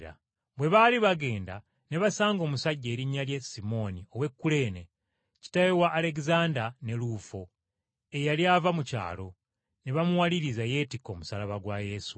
Bwe baali bagenda ne basanga omusajja erinnya lye Simooni ow’e Kuleene, kitaawe wa Alegezanda ne Luufo eyali ava mu kyalo, ne bamuwaliriza yeetikke omusaalaba gwa Yesu.